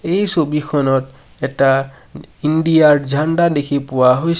এই ছবিখনত এটা ইণ্ডিয়া ৰ দেখি পোৱা হৈছে।